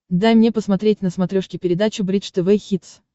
дай мне посмотреть на смотрешке передачу бридж тв хитс